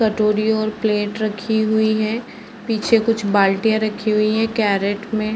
कटोरी और प्लेट रखी हुई हैं। पीछे कुछ बाल्टियाँ रखी हुई हैं कैरट में।